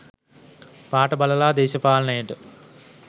පාට බලලා දේශපාලනයට